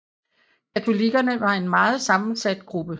Katolikkerne var en meget sammensat gruppe